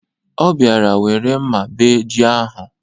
Ọ bịara were mma bee ji ahụ.